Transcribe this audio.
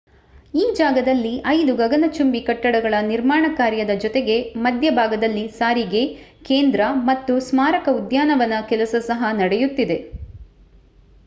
ಈ ಜಾಗದಲ್ಲಿ 5 ಗಗನಚುಂಬಿ ಕಟ್ಟಡಗಳ ನಿರ್ಮಾಣ ಕಾರ್ಯದ ಜೊತೆಗೆ ಮಧ್ಯಭಾಗದಲ್ಲಿ ಸಾರಿಗೆ ಕೇಂದ್ರ ಮತ್ತು ಸ್ಮಾರಕ ಉದ್ಯಾನವನದ ಕೆಲಸ ಸಹ ನಡೆಯುತ್ತಿದೆ